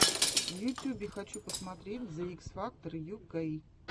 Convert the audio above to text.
в ютюбе хочу посмотреть зе икс фактор ю кей